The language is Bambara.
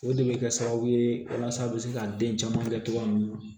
O de bɛ kɛ sababu ye walasa aw bɛ se ka den caman kɛ cogoya mun na